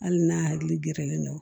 Hali n'a hakili gɛrɛlen don